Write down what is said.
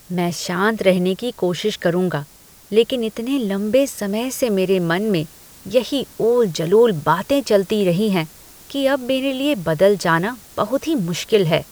मैं शांत रहने की कोशिश करूंगा लेकिन इतने लंबे समय से मेरे मन में यही ऊल जलूल बातें चलती रही हैं कि अब मेरे लिए बदल जाना बहुत ही मुश्किल है।